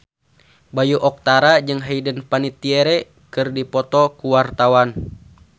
Bayu Octara jeung Hayden Panettiere keur dipoto ku wartawan